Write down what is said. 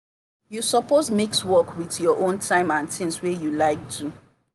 you suppose mix work with your own time and tings wey you like do.